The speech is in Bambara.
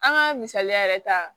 An ka misaliya yɛrɛ ta